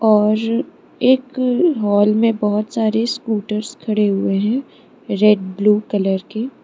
और एक हॉल में बहुत सारे स्कूटर्स खड़े हुए हैं रेड ब्लू कलर के।